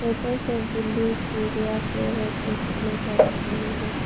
ऊपर सब बिंदीयां चूड़ियां पे सब नजर आ रहे है।